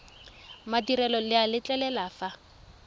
madirelo le a letlelela fa